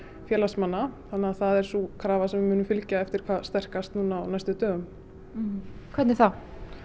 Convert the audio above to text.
félagsmanna það er sú krafa sem við munum fylgja eftir hvað sterkast á næstu dögum hvernig þá